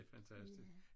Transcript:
Det fantastisk